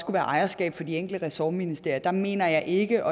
være ejerskab for de enkelte ressortministerier mener jeg ikke